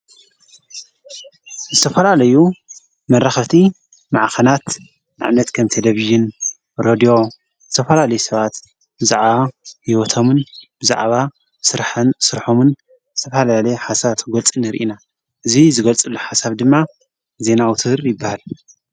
ዝተፈላለዩ መራህቲ መዓኸናት ናዕነት ከምተደብይን ሮድዮ ተፈላሌይ ሰባት ዝዓ ይወቶምን ብዛዕባ ሥርሐን ሥርሖምን ተፍላለየ ሓሳብ ተጐልጽን ርኢና እዙይ ዝገልጽሉ ሓሳብ ድማ ዘና አውታር ይበሃል፡፡